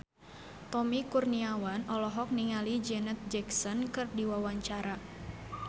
Tommy Kurniawan olohok ningali Janet Jackson keur diwawancara